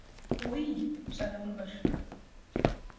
Oj, sagði Úlfur.